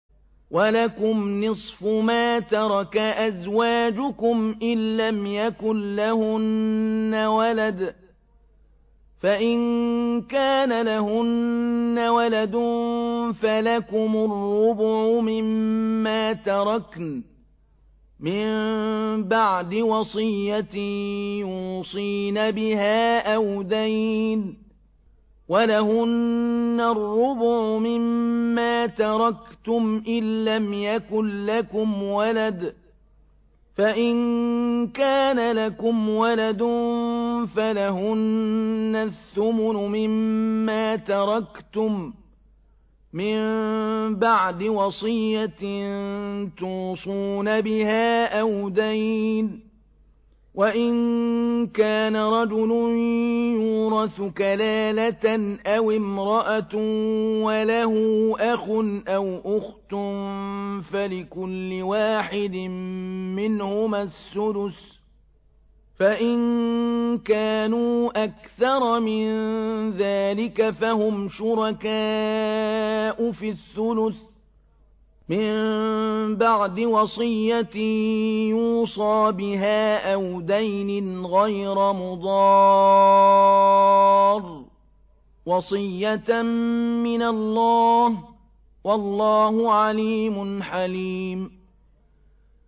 ۞ وَلَكُمْ نِصْفُ مَا تَرَكَ أَزْوَاجُكُمْ إِن لَّمْ يَكُن لَّهُنَّ وَلَدٌ ۚ فَإِن كَانَ لَهُنَّ وَلَدٌ فَلَكُمُ الرُّبُعُ مِمَّا تَرَكْنَ ۚ مِن بَعْدِ وَصِيَّةٍ يُوصِينَ بِهَا أَوْ دَيْنٍ ۚ وَلَهُنَّ الرُّبُعُ مِمَّا تَرَكْتُمْ إِن لَّمْ يَكُن لَّكُمْ وَلَدٌ ۚ فَإِن كَانَ لَكُمْ وَلَدٌ فَلَهُنَّ الثُّمُنُ مِمَّا تَرَكْتُم ۚ مِّن بَعْدِ وَصِيَّةٍ تُوصُونَ بِهَا أَوْ دَيْنٍ ۗ وَإِن كَانَ رَجُلٌ يُورَثُ كَلَالَةً أَوِ امْرَأَةٌ وَلَهُ أَخٌ أَوْ أُخْتٌ فَلِكُلِّ وَاحِدٍ مِّنْهُمَا السُّدُسُ ۚ فَإِن كَانُوا أَكْثَرَ مِن ذَٰلِكَ فَهُمْ شُرَكَاءُ فِي الثُّلُثِ ۚ مِن بَعْدِ وَصِيَّةٍ يُوصَىٰ بِهَا أَوْ دَيْنٍ غَيْرَ مُضَارٍّ ۚ وَصِيَّةً مِّنَ اللَّهِ ۗ وَاللَّهُ عَلِيمٌ حَلِيمٌ